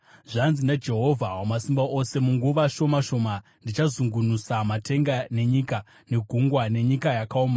“Zvanzi naJehovha Wamasimba Ose: ‘Munguva shoma shoma, ndichazungunusa matenga nenyika, negungwa nenyika yakaoma.